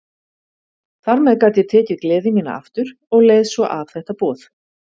Þar með gat ég tekið gleði mína aftur og leið svo af þetta boð.